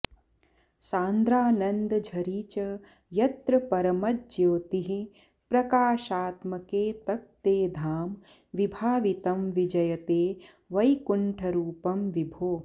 सान्द्रानन्दझरी च यत्र परमज्योतिःप्रकाशात्मके तत्ते धाम विभावितं विजयते वैकुण्ठरूपं विभो